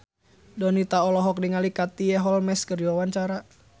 Donita olohok ningali Katie Holmes keur diwawancara